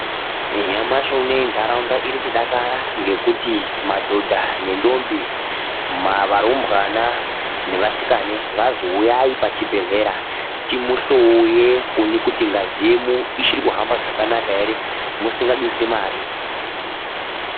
Nyamashi unowu ndaraunda iri kudakara ngekuti madhodha nemandombi varumbwana nevasikana vazi huyayi pachibhedhlera timu hloye musinga dusi mare.